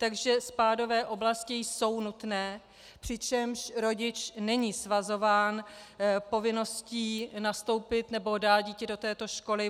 Takže spádové oblasti jsou nutné, přičemž rodič není svazován povinností nastoupit nebo dát dítě do této školy.